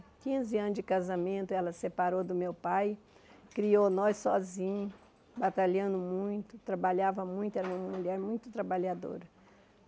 Quinze anos de casamento, ela separou do meu pai, criou nós sozinha, batalhando muito, trabalhava muito, era uma mulher muito trabalhadora.